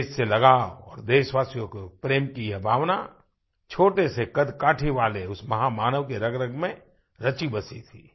देश से लगाव और देशवासियों से प्रेम की ये भावना छोटे से कदकाठी वाले उस महामानव के रगरग में रचीबसी थी